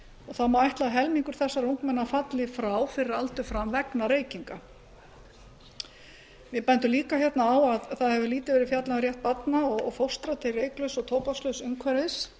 þá má ætla að um helmingur þessara ungmenna falli frá fyrir aldur fram vegna reykinga við bendum líka hérna á að það hefur lítið verið fjallað um rétt barna og fóstra til reyklauss og tóbakslauss umhverfis